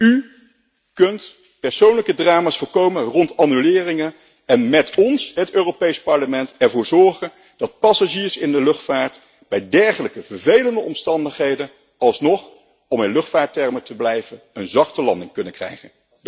U kunt persoonlijke drama's voorkomen rond annuleringen en met ons, het Europees Parlement, ervoor zorgen dat passagiers in de luchtvaart bij dergelijke vervelende omstandigheden alsnog om in luchtvaarttermen te blijven een zachte landing kunnen krijgen.